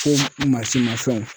Ko mansinmafɛnw.